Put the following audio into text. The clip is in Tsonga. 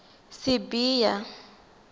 sibiya